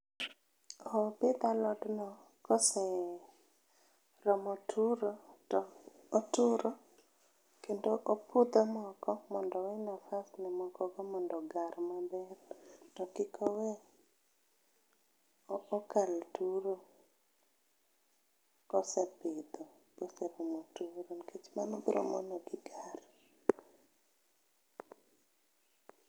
Opidh alot no koseromo turo to oturo kendo opudho moko mondo ewe nafas ne moko go mondo ogar maber to kik owe okal turo kosepidho mose nikech mano biro mono gigar